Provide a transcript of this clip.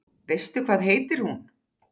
Veistu hvað heitir hún?